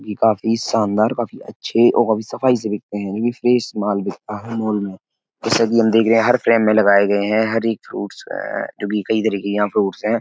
भी काफी शानदार काफी अच्छे और काफी सफाई से बिकते है। यानि फ्रेश माल बिकता है मॉल में। जैसा कि हम देख रहे हैं हर फ्रेम में लगाए हैं। हर एक फ्रूट्स है जो की कई तरह के यहाँ फ्रूट्स हैं।